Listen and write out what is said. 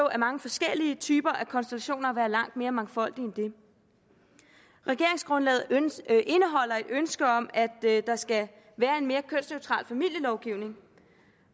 af mange forskellige konstellationer og være langt mere mangfoldige end det regeringsgrundlaget indeholder et ønske om at der skal være en mere kønsneutral familielovgivning